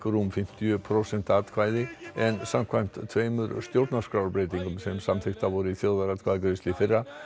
rúm fimmtíu prósent atkvæða en samkvæmt tveimur stjórnarskrárbreytingum sem samþykktar voru í þjóðaratkvæðagreiðslu í fyrra